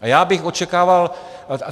A já bych očekával...